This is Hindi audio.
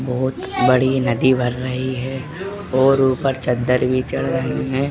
बोहत बड़ी नदी बन रही है और ऊपर चद्दर भी चढ़ रही है।